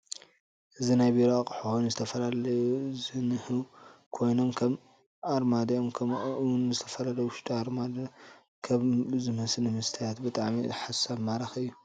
እዚ ናይ ብሮ አቁሑ ኾይኑ ዝተፈላለዩ ከም ዝንህው ኮይኖም ከም አሪማድዮ ከምኡ እውን ዝተፊላለዬ አብ ውሽጢ አሪማድዮ ክብ ዝመስሊ መስትያት ብጣዓሚ ሳሓብ ማሬኪ እዩ።